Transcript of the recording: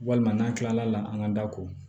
Walima n'an kilala an ka da ko